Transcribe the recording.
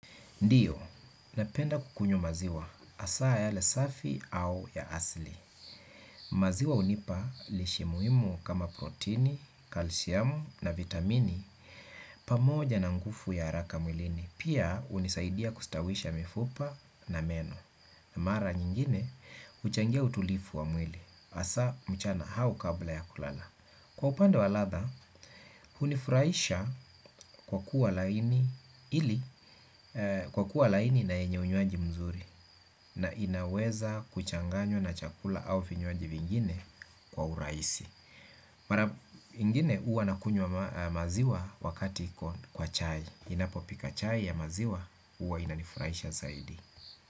Ndiyo, napenda kukunywa maziwa hasaa yale safi au ya asili. Maziwa hunipa lishe muhimu kama proteini, kalsiamu na vitamini pamoja na nguvu ya haraka mwilini. Pia hunisaidia kustawisha mifupa na meno. Na mara nyingine, huchangia utulivu wa mwili. Hasaa, mchana au kabla ya kulala. Kwa upande wa latha, hunifurahisha kwa kuwa kwa kuwa laini na yenye unywaji mzuri na inaweza kuchanganywa na chakula au vinyawaji vingine kwa urahisi. Mara ingine huwa nakunywa maziwa wakati kwa chai. Ninapopika chai ya maziwa, huwa inanifurahisha zaidi.